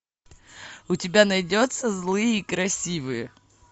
у тебя найдется злые и красивые